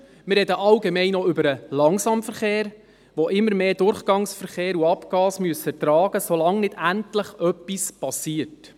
Wir sprechen allgemein auch über den Langsamverkehr, der immer mehr Durchgangsverkehr und Abgase ertragen muss, solange nicht endlich etwas geschieht.